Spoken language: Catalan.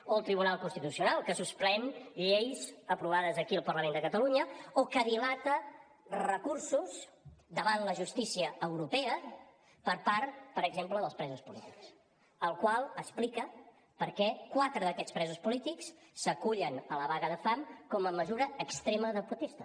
o el tribunal constitucional que suspèn lleis aprovades aquí al parlament de catalunya o que dilata recursos davant la justícia europea per part per exemple dels presos polítics la qual cosa explica per què quatre d’aquests presos polítics s’acullen a la vaga de fam com a mesura extrema de protesta